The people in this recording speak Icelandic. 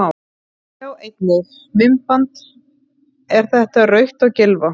Sjá einnig: Myndband: Er þetta rautt á Gylfa?